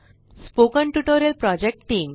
spoken tutorial project team